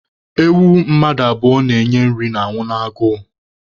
Ewu mmadụ abụọ na-enye nri na-anwụ n'agụụ